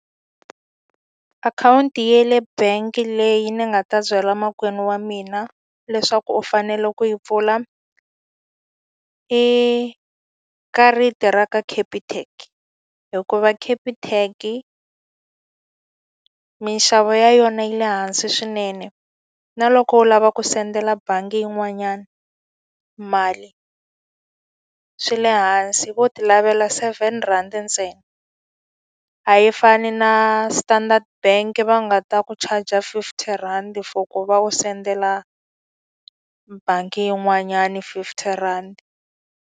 Akhawunti ya le bangi leyi ni nga ta byala makwenu wa mina leswaku u fanele ku yi pfula, i karata ra ka Capitec. Hikuva Capitec-i minxavo ya yona yi le hansi swinene, na loko u lava ku sendela bangi yin'wanyani mali, swi le hansi. Vo ti lavela seven rhandi ntsena. A yi fani na Standard Bank va nga ta ku charge-a fifty rhandi for ku va u sendela bangi yin'wanyani fifty rhandi.